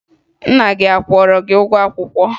Nna gị a kwụrụ gị ụgwọ akwụkwọ?